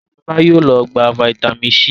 Shola yóò ló gbà vitamin c sí.